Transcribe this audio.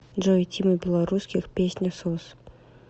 джой тима белорусских песня сос